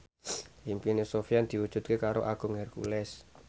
impine Sofyan diwujudke karo Agung Hercules